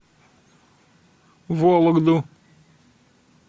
вологду